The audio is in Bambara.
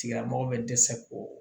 Tigilamɔgɔ bɛ dɛsɛ ko